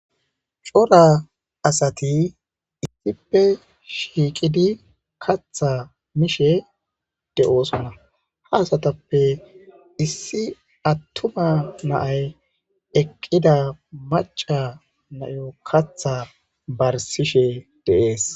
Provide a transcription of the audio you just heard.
Cora asati issippe shiiqqidi kaththa miishshe de'ossonna hayssatappe issi atumma na'ay eeqida maca bayo kaththa barsishe de'es